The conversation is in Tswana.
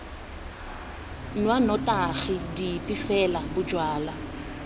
nwa dinotagi dipe fela bojalwa